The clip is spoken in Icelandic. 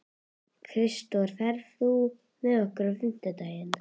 Kristdór, ferð þú með okkur á fimmtudaginn?